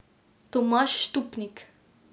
Tomaž Štupnik.